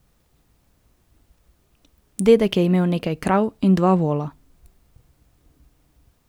In zdaj mi pridejo na vrata, skoraj, kot da bi hoteli reči: "Tu je še ena!